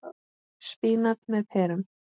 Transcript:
Spínat með perum